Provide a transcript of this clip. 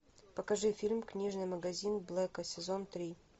покажи фильм книжный магазин блэка сезон три